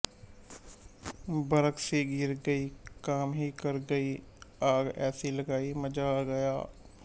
ਬਰਕ ਸੀ ਗਿਰ ਗਈ ਕਾਮ ਹੀ ਕਰ ਗਈ ਆਗ ਐਸੀ ਲਗਾਈ ਮਜ਼ਾ ਆ ਗਿਆ